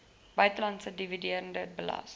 buitelandse dividende belas